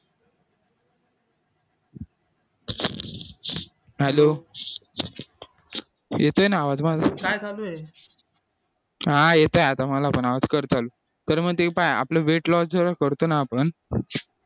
hello येतोय ना आवाज माझा हा येतोय आता मला पण आवाज कर चालू तर मग ते पहा आपलं weight loss जेव्हा करतो ना आपण